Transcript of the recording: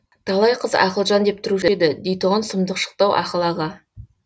талай қыз ақылжан деп тұрушы еді дейтұғын сұмдық шықты ау ақыл аға